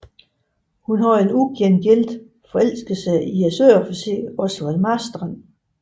Hun havde en ugengældt forelskelse i søofficeren Osvald Marstrand